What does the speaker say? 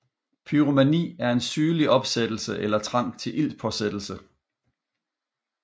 Pyromani er en sygelig opsættelse eller trang til ildspåsættelse